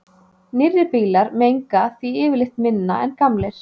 Nýrri bílar menga því yfirleitt minna en gamlir.